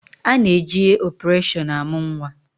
A na-eje opereshọn amụ nnwa